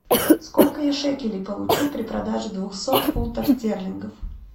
сколько я шекелей получу при продаже двухсот фунтов стерлингов